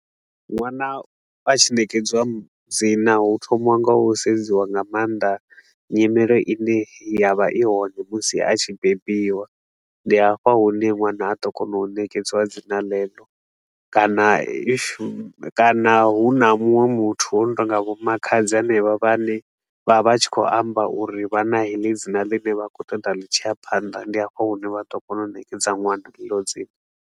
Nwana a tshi nekedziwa dzina, hu thomiwa nga u sedziwa nga maanḓa nyimelo i ne ya vha i hone musi a tshi bebiwa. Ndi hafha hune ṅwana a ḓo kona u nekedziwa dzina ḽeḽo kana if kana hu na munwe muthu o no tou nga vho makhadzi henevha, vhane vha vha tshi khou amba uri vha na heḽi dzina ḽine vha khou ṱoḓa ḽi tshi ya phanḓa, ndi hafho hune vha ḓo kona u nekedza ṅwana heḽo dzina.